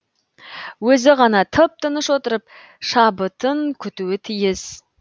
өзі ғана тып тыныш отырып шабытын күтуі тиіс